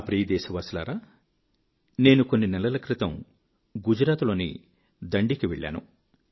నా ప్రియ దేశవాసులారా నేను కొన్ని నెలల క్రితం గుజరాత్ లోని దాండికి వెళ్ళాను